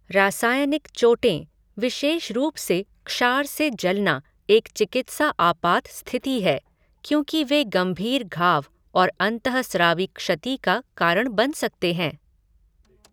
रासायनिक चोटें, विशेष रूप से क्षार से जलना एक चिकित्सा आपात स्थिति है, क्योंकि वे गंभीर घाव और अंतःस्रावी क्षति का कारण बन सकते हैं।